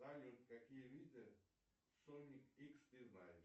салют какие виды соник икс ты знаешь